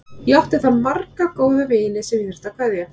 Ég átti þar marga góða vini sem ég þurfti að kveðja.